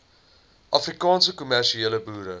afrikaanse kommersiële boere